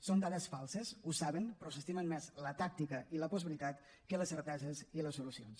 són dades falses ho saben però s’estimen més la tàctica i la postveritat que les certeses i les solucions